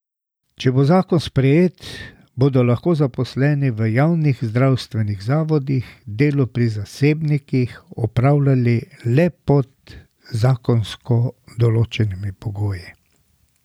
Če bo zakon sprejet, bodo lahko zaposleni v javnih zdravstvenih zavodih delo pri zasebnikih opravljali le pod zakonsko določenimi pogoji.